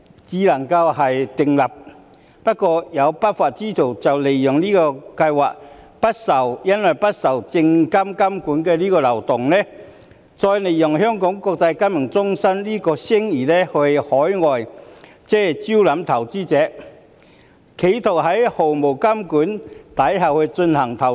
可是，有不法之徒利用這項計劃不受證監會監管的漏洞，並利用香港國際金融中心的聲譽招攬海外投資者，企圖在毫無監管下進行投資。